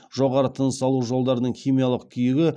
жоғарғы тыныс алу жолдарының химиялық күйігі